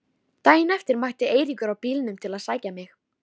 Daginn eftir mætti Eiríkur á bílnum til að sækja mig.